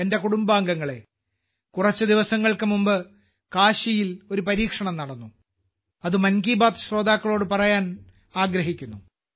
എന്റെ കുടുംബാംഗങ്ങളേ കുറച്ച് ദിവസങ്ങൾക്ക് മുമ്പ് കാശിയിൽ ഒരു പരീക്ഷണം നടന്നു അത് മൻ കി ബാത്ത് ശ്രോതാക്കളോട് പറയാൻ ആഗ്രഹിക്കുന്നു